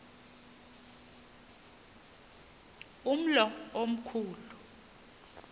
umlo omkhu lu